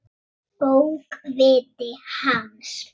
Bókviti hans?